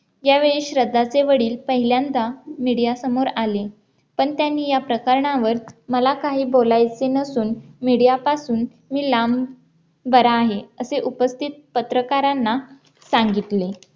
यावेळी श्रद्धाचे वडील पहिल्यांदा media समोर आले पण त्यांनी या प्रकरणावर मला काही बोलायचे नसून media पासून मी लांब बरा आहे असे उपस्थित पत्रकारांना सांगितले